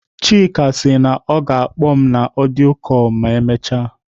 Chike sị na ọ ga-akpọ m na audio call ma emechaa.